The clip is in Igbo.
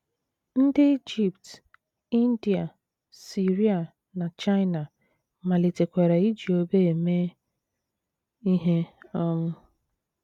Ndị Ijipt, India, Siria, na China malitekwara iji obe eme ihe. um